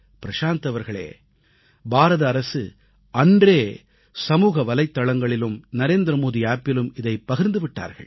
பிரசாந்த் அவர்களே பாரத அரசு அன்றே சமூக வலைத்தளங்களிலும் நரேந்திரமோடி செயலியிலும் இதைப் பகிர்ந்து விட்டார்கள்